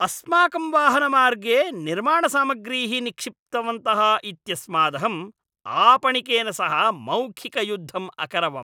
अस्माकं वाहनमार्गे निर्माणसामग्रीः निक्षिप्तवन्तः इत्यस्मादहं आपणिकेन सह मौखिकयुद्धम् अकरवम्।